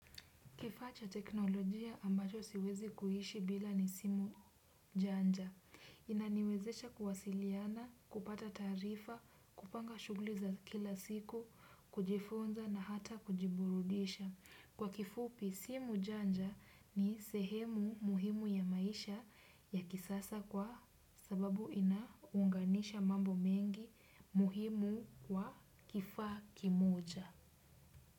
Kifaa cha teknolojia ambacho siwezi kuishi bila ni simu, chaja. Inaniwezesha kuwasiliana, kupata taarifa, kupanga shughuli za kila siku, kujifunza na hata kujiburudisha. Kwa kifupi, simu janja ni sehemu muhimu ya maisha ya kisasa kwa sababu inaunganisha mambo mengi muhimu kwa kifaa kimoja.